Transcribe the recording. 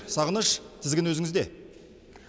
сағыныш тізгін өзіңізде